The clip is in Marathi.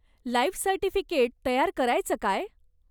लाईफ सर्टिफिकेट तयार करायचं काय?